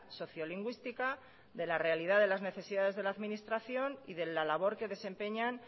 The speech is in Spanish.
sociolingüística de la realidad de las necesidades de la administración y de la labor que desempeñan